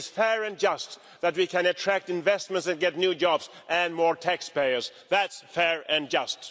It is fair and just that we can attract investment and get new jobs and more taxpayers thatʼs fair and just.